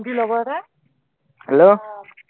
কি লগৰ এটা hello